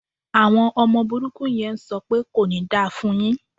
Àwọn ọmọ burúkú yẹn ń sọ pẹ́ "kò ní da fún un yín".